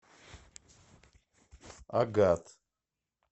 агат